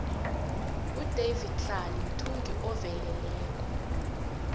udavidtlale mthungi oueleleko